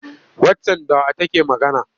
Waccan da wa take magana?